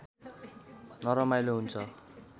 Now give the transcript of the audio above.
नरमाइलो हुन्छ